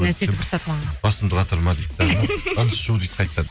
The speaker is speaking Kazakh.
сөйтіп ұрысады маған басымды қатырма дейді ыдыс жу дейді қайтадан